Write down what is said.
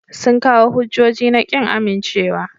Sun kawo hujjoji na kin amincewa.